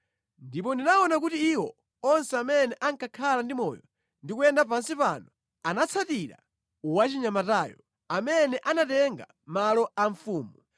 Ndipo ndinaona kuti iwo onse amene anakhala ndi moyo ndi kuyenda pansi pano anatsatira wachinyamatayo, amene anatenga malo a mfumu.